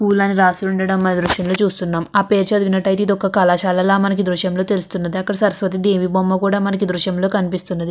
పూలని రాసి ఉండడం దృశ్యంలో చూస్తున్నాం. ఆ పేరు చదివినట్లయితే ఇది ఒక కళాశాలల మనకి దృశ్యంలో తెలుస్తుంది అక్కడ సరస్వతి దేవి బొమ్మ కూడా మనకు దృశ్యంలో కనిపిస్తున్నది.